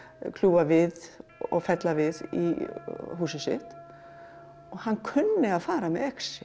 kljúfa við og fella við í húsið sitt og hann kunni að fara með exi